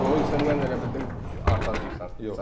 O Xoysendən elə bildim Arda deyirsən.